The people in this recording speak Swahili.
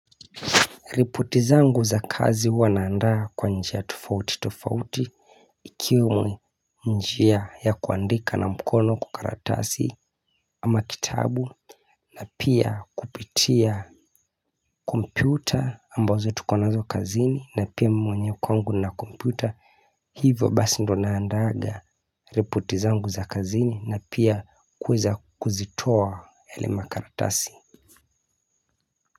Ripoti zangu za kazi huw naandaa kwa njia tofauti tofauti ikiwe njia ya kuandika na mkono kwa karatasi ama kitabu na pia kupitia kompyuta ambazo tukonazo kazini na pia mwenye kwangu na kompyuta hivyo basi ndo naandaga ripoti zangu za kazini na pia kweza kuzitoa yelema karatasi.